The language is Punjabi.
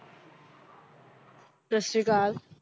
ਸਤਿ ਸ੍ਰੀ ਅਕਾਲ